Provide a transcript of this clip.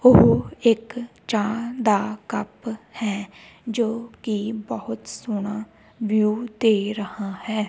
ਉਹ ਇੱਕ ਚਾਹ ਦਾ ਕੱਪ ਹੈ ਜੋ ਕਿ ਬਹੁਤ ਸੋਹਣਾ ਵਿਊ ਦੇ ਰਿਹਾ ਹੈ।